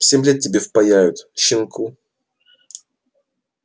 семь лет тебе впаяют щенку